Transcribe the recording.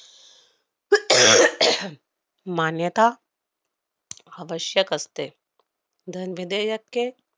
मान्यता अवश्यक असते. धन विधेयके